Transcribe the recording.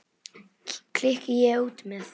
klykki ég út með.